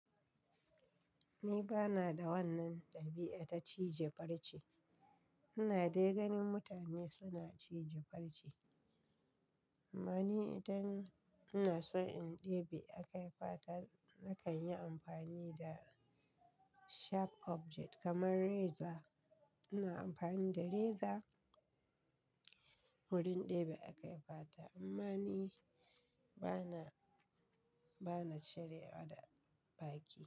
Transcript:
Ni bana da wannan ɗabi'a ta cije farci. Ina dai ganin mutane suna cije farce. Amma ni idan ina so in ɗebi a kai fata, na kan yi amfani da sharp object kamar reza. Ina amfani da reza wurin ɗebi a kai fata. Amma ni bana, bana cire wa da baki.